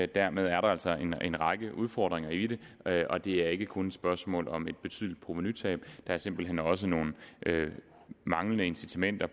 dermed er der altså en række udfordringer i det og det er ikke kun et spørgsmål om et betydeligt provenutab der er simpelt hen også nogle manglende incitamenter